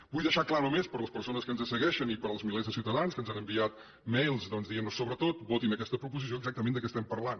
vull deixar clar només per a les persones que ens segueixen i per als milers de ciutadans que ens han enviat mailsproposició exactament de què estem parlant